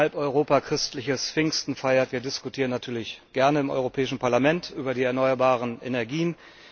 Auch wenn halb Europa christliches Pfingsten feiert, wir diskutieren natürlich gerne im Europäischen Parlament über die erneuerbaren Energien.